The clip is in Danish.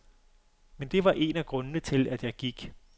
Men det var en af grundene til, at jeg gik.